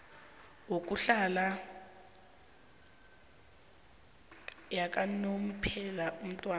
yokuhlala yakanomphela umntwana